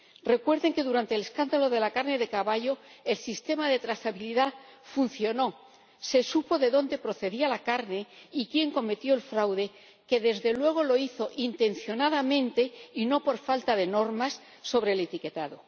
Recuerden que durante el escándalo de la carne de caballo el sistema de trazabilidad funcionó, se supo de dónde procedía la carne y quién cometió el fraude, que, desde luego, lo hizo intencionadamente y no por falta de normas sobre el etiquetado.